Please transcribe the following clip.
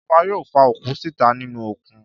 Ìjọba yóò fa òkú síta nínú òkun.